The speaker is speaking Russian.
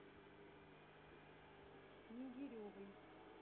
снегиревой